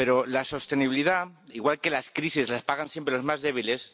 Pero la sostenibilidad, igual que las crisis, las pagan siempre los más débiles